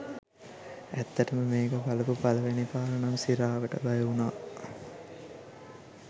ඇත්තටම මේක බලපු පලවෙනි පාර නම් සිරාවට බය වුනා.